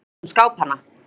Sama gilti um skápana.